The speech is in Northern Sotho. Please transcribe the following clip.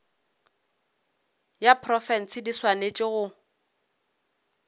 ya profense di swanetše go